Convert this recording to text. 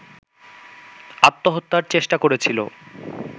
আত্মহত্যার চেষ্টা করেছিল